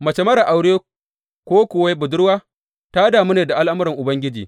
Mace marar aure ko kuwa budurwa ta damu ne da al’amuran Ubangiji.